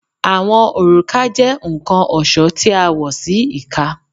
Awọn oruka jẹ nkan ọṣọ ti a wọ si ika